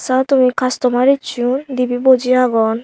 ratumi kastomaar esson dibey boji agon.